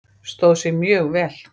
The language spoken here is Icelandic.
Stóð sig mjög vel.